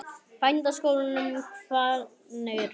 Bændaskólanum Hvanneyri